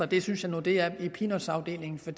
det synes jeg nu det er i peanutafdelingen for